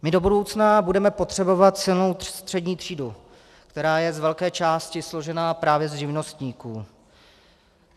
My do budoucna budeme potřebovat silnou střední třídu, která je z velká části složena právě z živnostníků.